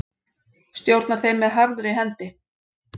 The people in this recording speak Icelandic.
Stjórnar þeim með harðri hendi.